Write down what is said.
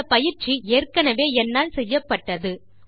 இந்த பயிற்சி ஏற்கெனவே என்னால் செய்யப்பட்டது